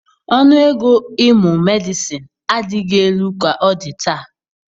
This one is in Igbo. Ọnụ ego ịmụ Medịsịn adịghị elu ka ọ dị taa.